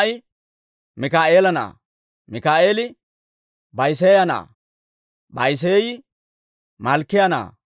Shim"i Mikaa'eela na'aa; Mikaa'eeli Ba'iseeya na'aa; Ba'iseeyi Malkkiyaa na'aa;